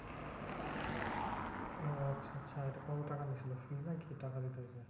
ও আচ্ছা আচ্ছা এটা কত টাকা নিয়েছিল? free নাকি টাকা দিতে হয়েছিল?